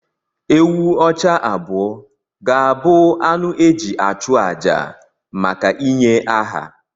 Ewù ọcha abụọ ga-abụ anụ e ji achụ àjà maka ịnye aha.